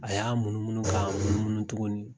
A y'a munumunun ka munumunun tuguni